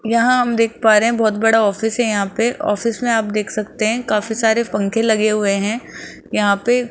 यहां हम देख पा रहे हैं बहोत बड़ा ऑफिस है यहां पे ऑफिस में आप देख सकते हैं काफी सारे पंखे लगे हुए हैं यहां पे।